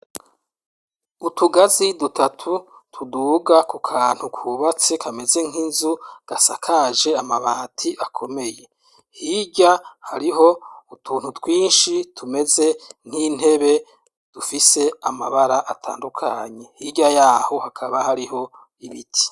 Utugazi dutatu, tuduga ku kantu kubatse kameze nk'Inzu, gasakaje Amabati akomeye hirya hariho, utuntu twinshi tumeze nt'Intebe, dufise Amabara atandukanye hirya yaho hakaba hariho Ibiti.